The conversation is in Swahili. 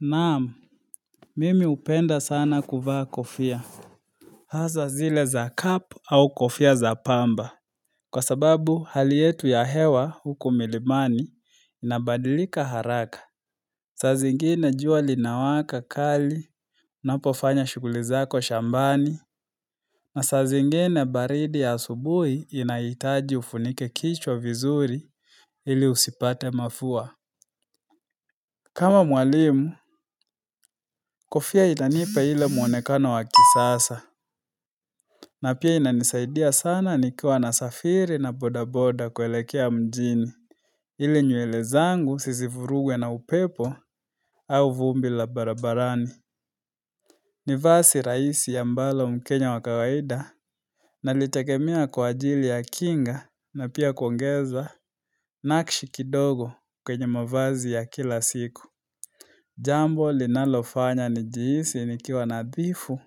Naam, mimi hupenda sana kuvaa kofia. Haswa zile za cap au kofia za pamba. Kwa sababu hali yetu ya hewa huku milimani inabadilika haraka. Saa zingine jua linawaka kali, unapofanya shughuli zako shambani. Masaa zingine baridi ya asubuhi inahitaji ufunike kichwa vizuri ili usipate mafua. Kama mwalimu, kofia inanipa ile muonekano wakisasa. Na pia inanisaidia sana nikiwa nasafiri na bodaboda kuelekea mjini, ili nywele zangu zisivurugwe na upepo au vumbi la barabarani ni vazi rahisi ambalo mkenya wakawaida Nalitegemea kwa ajili ya kinga na pia kuongeza nakshi kidogo kwenye mavazi ya kila siku Jambo linalofanya nijihisi nikiwa nadhifu